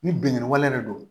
Ni binkanni wale de don